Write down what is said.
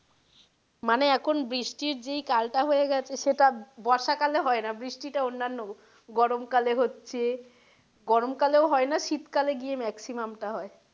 মানে এখন বৃষ্টির যেই কাল টা হয়ে গেছে সেটা বর্ষা কালে হয়না বৃষ্টি টা অন্যান্য গরম কালে হচ্ছে গরম কালেও হয় না শীতকালে গিয়ে maximum টা হয়।